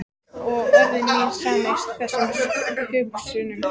Og orð mín sameinast þessum hugsunum.